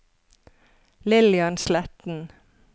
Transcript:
Lillian Sletten